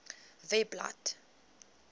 webblad